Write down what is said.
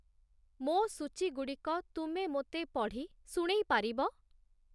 ମୋ ସୂଚୀ ଗୁଡ଼ିକ ତୁମେ ମୋତେ ପଢ଼ି ଶୁଣେଇ ପାରିବ?